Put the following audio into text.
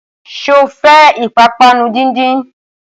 Sọ fẹ́ ìpápánu díndín?